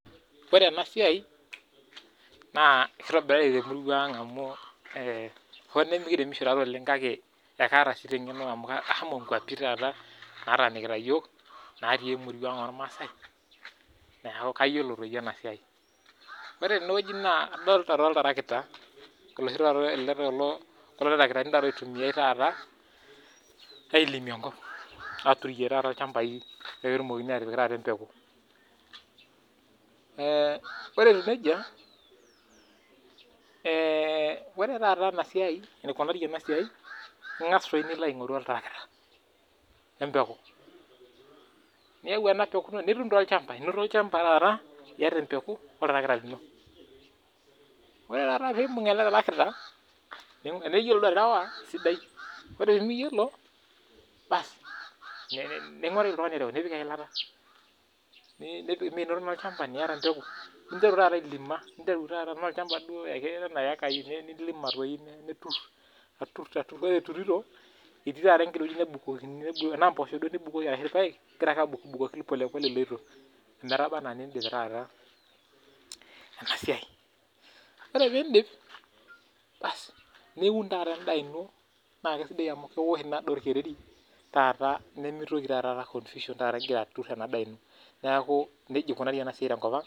Ore ena siai naa kitobirari temurua ang hoo nimikiremishi duo oleng kake kaata sii eng'eno amu ashomo nkwapii nataniki iyiok natii amurua ang ormaasai neeku kayiolo ena siai ore tenewueji naa adolita oltarakita kulo tarakitani oitumiai taata aturie ilchambai petumokini atipika embekuu ore etieu nejia ore taata enikunari ena siai naa eng'as nilo aing'oru oltarakita wee mbeku niyau nipik olchamba ore taata pee ebung ele tractor tenaa eyiolou aterewa esidai ore pee miyiolo ning'oru oltung'ani orew nipik eyilata amu enoto naa oltarakita nitum embekuu ninteru duo ailima nitur ore eturito etii taata entoki naukokini tenaa mboshok eyieu nibukoki tenaa irpaek nibukoki ake ometaba ena nidip ena siai ore pee edip niun tata enda eno naa kisidai amu keosh ena daa orkereri nimitoki ataa confusion egira atur en daa eno neeku eji eikunari ena siai tenkop ang